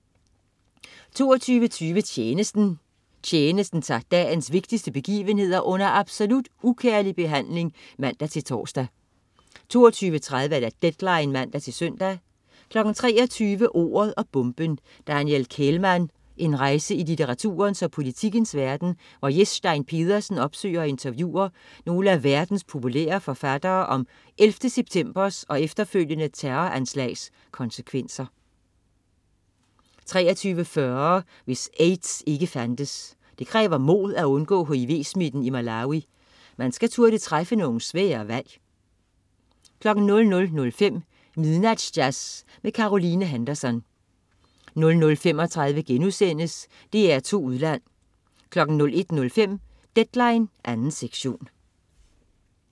22.20 Tjenesten. Tjenesten tager dagens vigtigste begivenheder under absolut ukærlig behandling (man-tors) 22.30 Deadline (man-søn) 23.00 Ordet og bomben: Daniel Kehlmann. En rejse i litteraturens og politikkens verden, hvor Jes Stein Pedersen opsøger og interviewer nogle af verdens populære forfattere om 11. septembers og efterfølgende terroranslags konsekvenser 23.40 Hvis AIDS ikke fandtes. Det kræver mod at undgå hiv-smitten i Malawi. Man skal turde træffe nogle svære valg 00.05 Midnatsjazz med Caroline Henderson 00.35 DR2 Udland* 01.05 Deadline 2. sektion